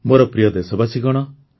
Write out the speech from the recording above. ମୋର ପ୍ରିୟ ଦେଶବାସୀଗଣ